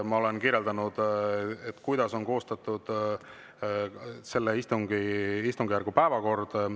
Ma olen kirjeldanud, kuidas on koostatud selle istungjärgu päevakord.